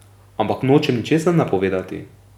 Ampak nočem ničesar napovedovati.